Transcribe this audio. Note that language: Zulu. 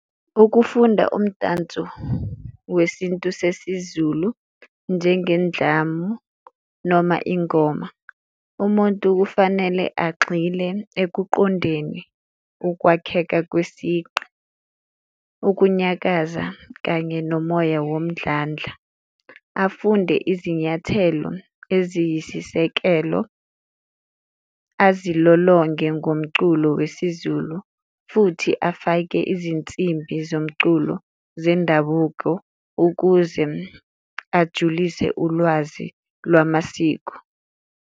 Ukufunda umdanso wesintu sesiZulu njengendlamu noma ingoma, umuntu kufanele agxile ekuqondeni ukwakheka kwesiqi, ukunyakaza kanye nomoya womdlandla. Afunde izinyathelo eziyisisekelo, azilolonge ngomculo wesiZulu futhi afake izinsimbi zomculo zendabuko ukuze ajulise ulwazi lwamasiko.